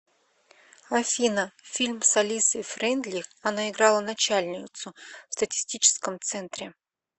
афина фильм с алисой фрейндлих она играла начальницу в статистическом центре